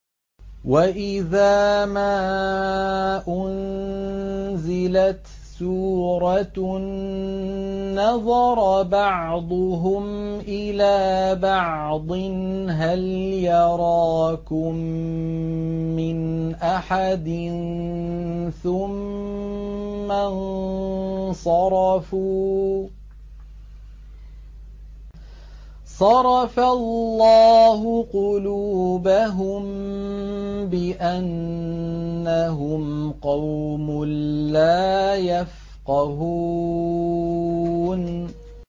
وَإِذَا مَا أُنزِلَتْ سُورَةٌ نَّظَرَ بَعْضُهُمْ إِلَىٰ بَعْضٍ هَلْ يَرَاكُم مِّنْ أَحَدٍ ثُمَّ انصَرَفُوا ۚ صَرَفَ اللَّهُ قُلُوبَهُم بِأَنَّهُمْ قَوْمٌ لَّا يَفْقَهُونَ